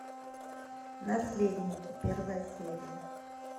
наследники первая серия